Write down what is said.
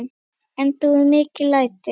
Enda voru mikil læti.